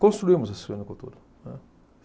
construímos a suinocultura, né.